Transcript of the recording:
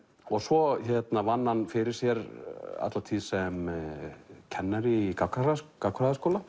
svo vann hann fyrir sér alla tíð sem kennari í gagnfræðaskóla